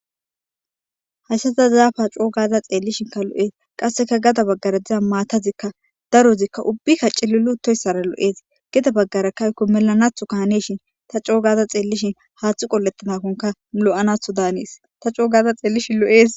hayssaza zaapaa coo gaza xeellishin ka lo7ees qasseka gada baggara diza maatazikka darozikka ubbi kaci lilu uttoyssara lo7ees geda baggarakkayko melanathu kaaneshin ta coogaza xeellishin haaththu qolettanakonka lo7anatho daanees ta coogaza xeellishi lo7ees